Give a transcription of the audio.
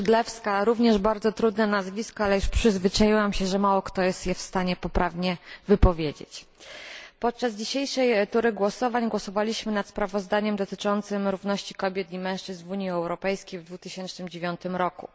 Skrzydlewska również bardzo trudne nazwisko, ale już się przyzwyczaiłam, że mało kto jest je w stanie poprawnie wypowiedzieć. Podczas dzisiejszej tury głosowań głosowaliśmy nad sprawozdaniem dotyczącym równości kobiet i mężczyzn w Unii Europejskiej w 2009 roku.